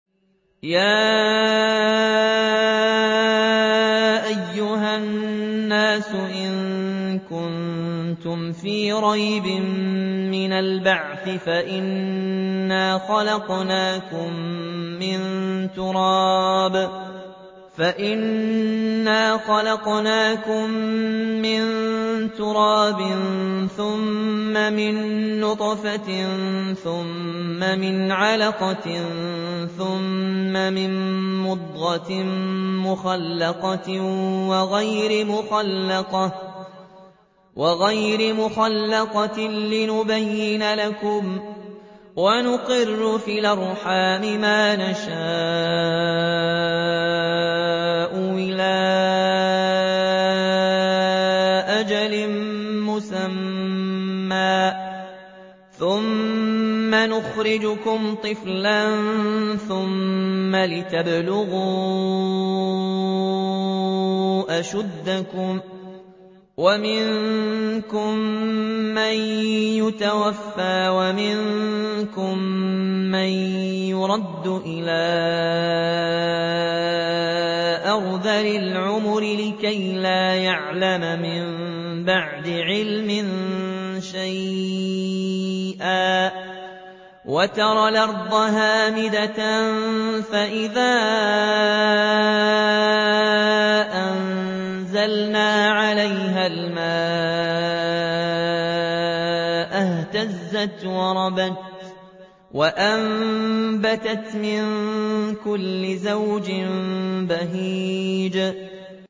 يَا أَيُّهَا النَّاسُ إِن كُنتُمْ فِي رَيْبٍ مِّنَ الْبَعْثِ فَإِنَّا خَلَقْنَاكُم مِّن تُرَابٍ ثُمَّ مِن نُّطْفَةٍ ثُمَّ مِنْ عَلَقَةٍ ثُمَّ مِن مُّضْغَةٍ مُّخَلَّقَةٍ وَغَيْرِ مُخَلَّقَةٍ لِّنُبَيِّنَ لَكُمْ ۚ وَنُقِرُّ فِي الْأَرْحَامِ مَا نَشَاءُ إِلَىٰ أَجَلٍ مُّسَمًّى ثُمَّ نُخْرِجُكُمْ طِفْلًا ثُمَّ لِتَبْلُغُوا أَشُدَّكُمْ ۖ وَمِنكُم مَّن يُتَوَفَّىٰ وَمِنكُم مَّن يُرَدُّ إِلَىٰ أَرْذَلِ الْعُمُرِ لِكَيْلَا يَعْلَمَ مِن بَعْدِ عِلْمٍ شَيْئًا ۚ وَتَرَى الْأَرْضَ هَامِدَةً فَإِذَا أَنزَلْنَا عَلَيْهَا الْمَاءَ اهْتَزَّتْ وَرَبَتْ وَأَنبَتَتْ مِن كُلِّ زَوْجٍ بَهِيجٍ